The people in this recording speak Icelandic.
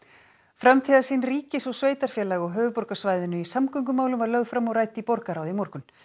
framtíðarsýn ríkis og sveitarfélaga á höfuðborgarsvæðinu í samgöngumálum var lögð fram og rædd í borgarráði í morgun